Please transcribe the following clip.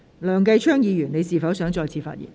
梁繼昌議員，你是否想再次發言？